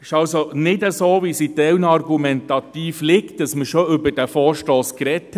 Es ist nicht so, wie zum Teil argumentiert wird, dass man bereits über diesen Vorstoss gesprochen hat.